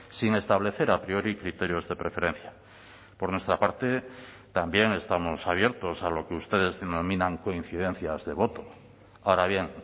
sin establecer a priori criterios de preferencia por nuestra parte también estamos abiertos a lo que ustedes denominan coincidencias de voto ahora bien